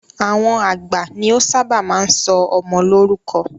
Àwọn àgbà ni o ṣábà máa ń sọ ọmọ lórúkọ.